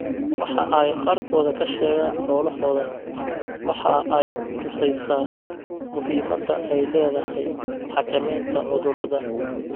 Waxa ay qaarkood ka sheegaan xoolahooda waxa ay ku tusaysaa muhiimadda ay leedahay xakamaynta cudurrada.